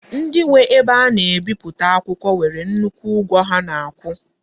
Ndi nwe ebe a na-ebiputa akwukwo nwere nnukwu ugwo ha na-akwu.